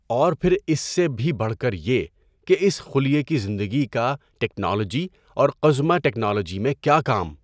اور پھر اس سے بھی بڑھ کر یہ کہ اس خلیے کی زندگی کا ٹیکنالوجی اور قزمہ ٹیکنالوجی میں کیا کام؟